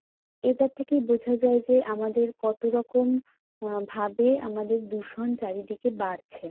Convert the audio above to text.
এটার থেকেই বোঝা যায় যে আমাদের কত রকম আহ ভাবে আমাদের দূষণ চারিদিকে বাড়ছে।